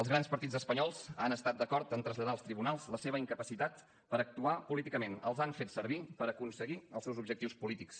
els grans partits espanyols han estat d’acord a traslladar als tribunals la seva incapacitat per actuar políticament els han fet servir per aconseguir els seus objectius polítics